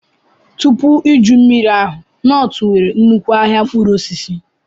Tupu iju mmiri ahụ, Nortu nwere nnukwu ahịa mkpụrụ osisi.